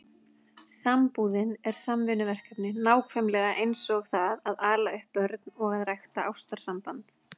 Sambúðin er samvinnuverkefni, nákvæmlega eins og það að ala upp börn og að rækta ástarsamband.